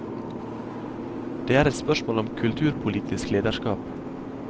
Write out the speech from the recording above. Det er et spørsmål om kulturpolitisk lederskap.